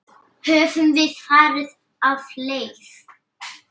Höfum við farið af leið?